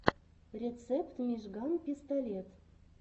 рецепт мижган пистолет